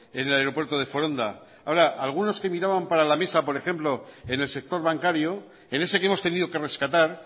en el aeropuerto de foronda ahora algunos que miraban para la mesa por ejemplo en el sector bancario en ese que hemos tenido que rescatar